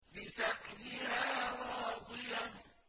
لِّسَعْيِهَا رَاضِيَةٌ